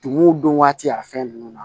Tumuw dun waati y'a fɛn ninnu na